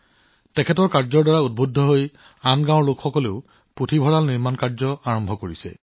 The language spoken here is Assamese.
তেওঁলোকৰ প্ৰচেষ্টাৰ দ্বাৰা অনুপ্ৰাণিত হৈ আন বহুতো গাঁৱৰ লোকসকলেও পুথিভঁৰাল সৃষ্টিত নিয়োজিত হৈ পৰিছে